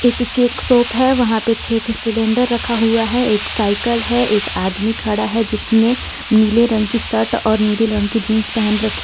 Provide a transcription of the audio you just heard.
एक cake shop है वहां पे छे ठी-सिलेंडर रखा हुआ है एक साईकल है एक आदमी खड़ा हे जिसने नीले रंग की शर्ट और नीले रंग की जीन्स पहेन रखी --